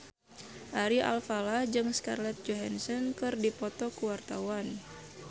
Ari Alfalah jeung Scarlett Johansson keur dipoto ku wartawan